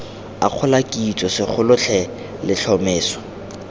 akgola kitso segolo the letlhomeso